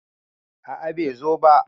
a a bai zo ba